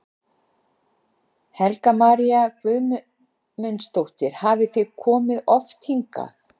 Helga María Guðmundsdóttir: Hafið þið komið oft hingað?